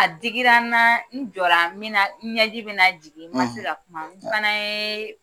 A digira n na, n jɔla min na, n ɲɛji bi na jigin , n ma se ka kuma, n fana ye